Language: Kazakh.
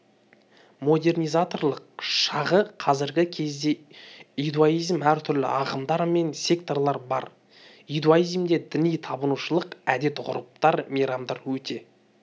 модернизаторлық шағы қазіргі кезде иудаизмде әртүрлі ағымдар мен секталар бар иудаизмде діни табынушылық әдет-ғүрыптар мейрамдар өте